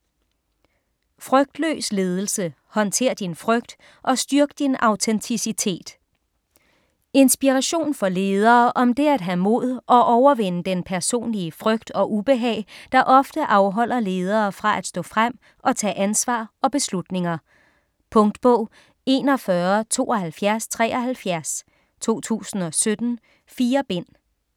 Frygtløs ledelse: håndtér din frygt, og styrk din autenticitet Inspiration for ledere om det at have mod og overvinde den personlige frygt og ubehag, der ofte afholder ledere fra at stå frem og tage ansvar og beslutninger. Punktbog 417273 2017. 4 bind.